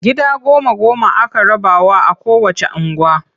Gida goma-goma aka rabawa a kowacce unguwa.